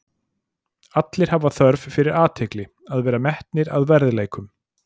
Allir hafa þörf fyrir fyrir athygli, að vera metnir að verðleikum.